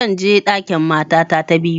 Zan je ɗakin matata ta biyu